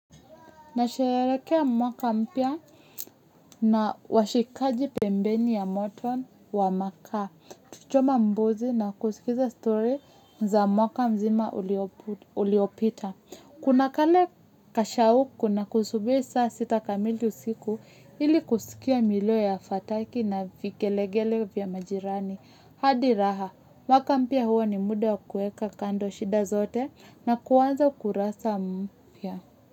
Nasharekea mwaka mpya na washikaji pembeni ya moto wa maka. Tukichoma mbuzi na kusikiza story za mwaka mzima uliopita. Kuna kale kashauku na kusubiri saa sita kamili usiku ili kusikia milio ya fataki na vigelegele vya majirani. Hadi raha, mwaka mpya huo ni muda kuweka kando shida zote na kuanza kurasa mpya.